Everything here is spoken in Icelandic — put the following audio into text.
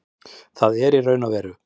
Það er í raun og veru